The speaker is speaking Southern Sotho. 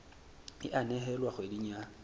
e a nehelwa kgweding ya